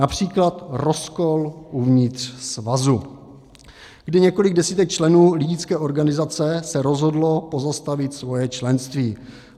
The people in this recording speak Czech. Například rozkol uvnitř svazu, kdy několik desítek členů lidické organizace se rozhodlo pozastavit svoje členství.